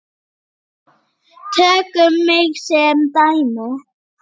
Tökum mig sem dæmi.